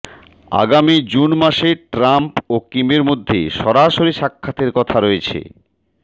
আগামী জুন মাসে ট্রাম্প ও কিমের মধ্যে সরাসরি সাক্ষাতের কথা রয়েছে